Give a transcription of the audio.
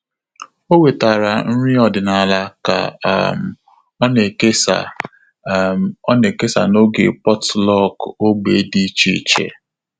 Ọ́ wètàrà nrí ọ́dị́nála kà um ọ́ nà-èkèsá um ọ́ nà-èkèsá n’ógè potluck ógbè dị́ iche iche.